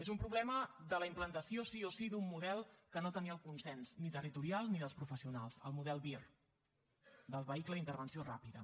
és un problema de la implantació sí o sí d’un model que no tenia el consens ni territorial ni dels professionals el model vir del vehicle d’intervenció ràpida